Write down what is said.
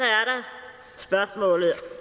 så spørgsmålet